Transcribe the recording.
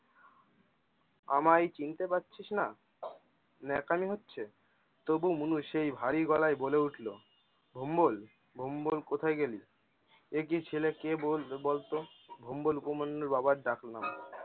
আমায় চিনতে পারছিস না? নেকামি হচ্ছে? তবু মনু সেই ভারী গলায় বলে উঠলো ভোম্বল? ভোম্বল? কোথায় গেলি? একি ছেলে কে বলবে বলতো? ভোম্বল অভিমন্যুর বাবার ডাকনাম।